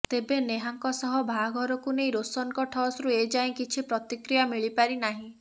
ତେବେ ନେହାଙ୍କ ସହ ବାହାଘରକୁ ନେଇ ରୋହନଙ୍କ ଠଶରୁ ଏ ଯାଏଁ କିଛି ପ୍ରତିକ୍ରିୟା ମିଳିପାରି ନାହିଁ